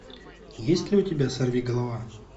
есть ли у тебя сорвиголова